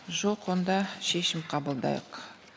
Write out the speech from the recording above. жоқ онда шешім қабылдайық